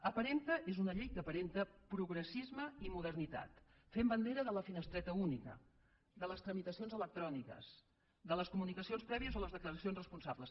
aparenta és una llei que aparenta progressisme i modernitat fent bandera de la finestreta única de les tramitacions electròniques de les comunicacions prèvies o les declaracions responsables